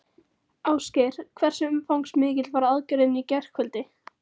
Ásgeir, hversu umfangsmikil var aðgerðin í gærkvöldi?